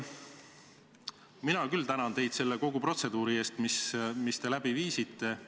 Ma tänan teid kogu selle protseduuri eest, mis te läbi viisite.